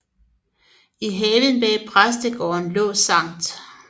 I haven bag præstegården lå Skt